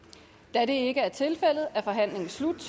da det ikke er tilfældet er forhandlingen slut